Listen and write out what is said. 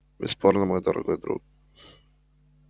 бесспорно мой дорогой друг